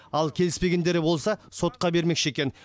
ал келіспегендері болса сотқа бермекші екен